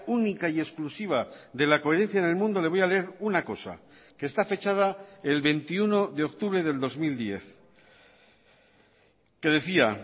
única y exclusiva de la coherencia en el mundo le voy a leer una cosa que está fechada el veintiuno de octubre del dos mil diez que decía